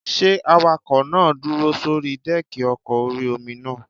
Ṣé awakọ̀ náà dúró sórí dẹ́ẹ̀kì ọkọ̀ orí-omi náà?